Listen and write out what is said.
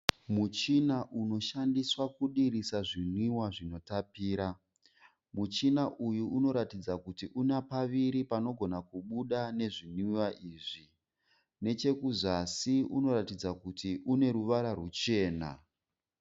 Muchina unoshandiswa kudirisa zvinwiwa zvinotapira. Muchina uyu unotaridza kuti una paviri panogona kubuda nezvinwiwa izvi. Nechekuzasi unotaridza kuti une ruvara ruchena.